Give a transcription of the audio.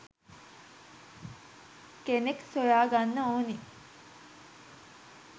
කෙනෙක් සොයාගන්න ඕනි.